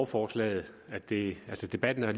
forslaget det